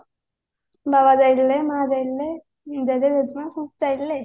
ବାବା ଯାଇଥିଲେ ମା ଯାଇଥିଲେ ମୁଁ ଯାଇଥିଲି ଜେଜେମା ସମସ୍ତେ ଯାଇଥିଲେ